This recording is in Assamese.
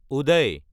উদয়